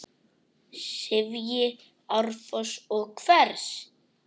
sifji árfoss og hvers!